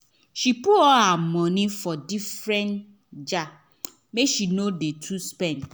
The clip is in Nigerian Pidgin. she put all her moeny for different jar make she no too spend